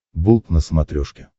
болт на смотрешке